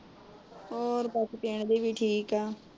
ਹੋਰ ਬਾਕੀ ਪਿੰਡ ਦੇ ਵੀ ਠੀਕ ਏ।